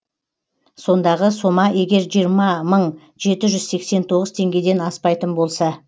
сондағы сома егер жиырма мың жеті жүз сексен тоғыз теңгеден аспайтын болса